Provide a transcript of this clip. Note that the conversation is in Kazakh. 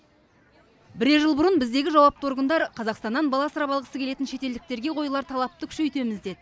бірер жыл бұрын біздегі жауапты органдар қазақстаннан бала асырап алғысы келетін шетелдіктерге қойылар талапты күшейтеміз деді